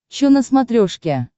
че на смотрешке